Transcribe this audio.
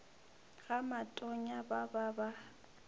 ga matonya ba ba ba